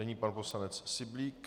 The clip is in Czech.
Nyní pan poslanec Syblík.